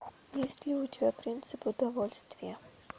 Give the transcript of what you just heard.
есть ли у тебя принцип удовольствия